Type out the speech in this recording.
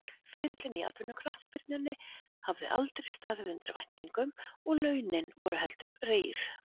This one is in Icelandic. Ferillinn í atvinnuknattspyrnunni hafði aldrei staðið undir væntingum og launin voru heldur rýr.